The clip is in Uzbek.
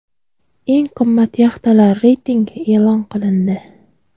Eng qimmat yaxtalar reytingi e’lon qilindi.